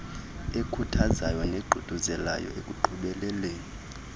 ekhuthazayo neququzelayo ekuqhubeleni